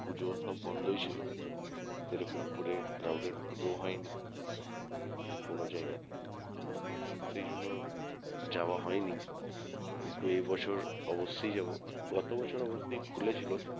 পুজো সব বন্ধই ছিল সেরকম করে crowded পুজোও হয়নি কোনো জায়গা তেই তো সেজন্য যাওয়া হয়নি কিন্তু এবছর অবসসই যাবো গত বছর অবশ্য খুলেছিলো